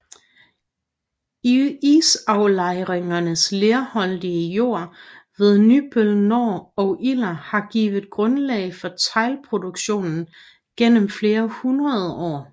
Isaflejringernes lerholdige jord ved Nybøl Nor og Iller har givet grundlag for teglproduktion gennem flere hundrede år